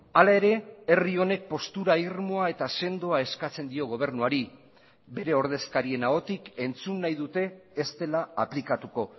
hala ere herri honek postura irmoa eta sendoa eskatzen dio gobernuari bere ordezkarien ahotik entzun nahi dute ez dela aplikatuko